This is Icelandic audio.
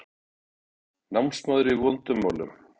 Námsmaður í vondum málum